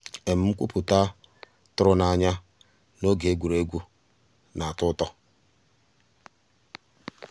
nkwúpụ́tá tụ̀rụ̀ n'ànyá n'ògé égwu égwu um ná-àtọ́ ụtọ́.